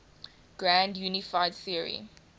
grand unified theory